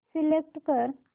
select कर